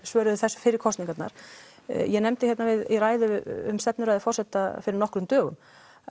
svarað þessu fyrir kosningar ég nefndi hérna um stefnuræðu forseta fyrir nokkrum dögum